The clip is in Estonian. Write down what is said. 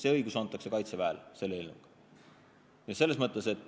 Need õigused antakse Kaitseväele.